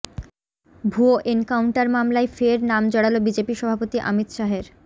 ভুয়ো এনকাউন্টার মামলায় ফের নাম জড়াল বিজেপি সভাপতি অমিত শাহের